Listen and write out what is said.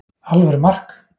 Alvöru mark!